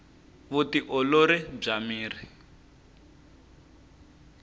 vu ti olori bya miri